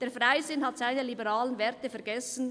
Der Freisinn hat seine liberalen Werte vergessen.